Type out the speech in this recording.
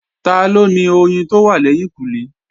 Taló ni oyin tó wà lẹ́yìnkùnlé?